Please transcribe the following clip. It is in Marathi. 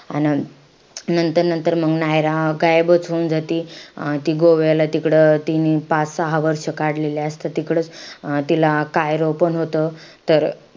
अन नंतर नंतर मंग नायरा गायबंच होऊन जाती. अं ती गोव्याला तिकडं तिनी पाच सहा वर्ष काढलेले असतात तिकडचं. अं तिला कायरो पण होतो.